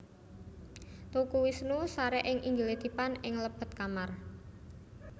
Teuku Wisnu sare ing inggile dipan ing lebet kamar